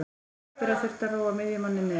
Hallbera þurfti að róa miðjumanninn niður.